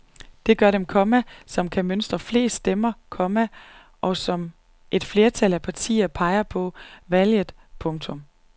Det gør den, komma som kan mønstre flest stemmer, komma og som et flertal af partier peger på efter valget. punktum